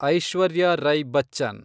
Aishwarya Rai Bachchan